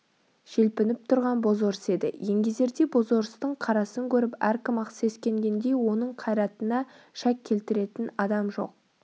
желпініп тұрған бозорыс еді еңгезердей бозорыстың қарасын көріп әркім-ақ сескенгендей оның қайратына шәк келтіретін адам жоқ